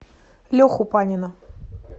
леху панина